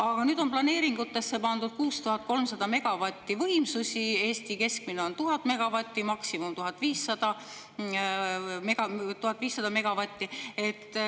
Ja nüüd on planeeringutesse pandud 6300 megavatti võimsusi, kuigi Eesti keskmine on 1000 megavatti, maksimum 1500 megavatti.